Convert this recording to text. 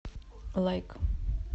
лайк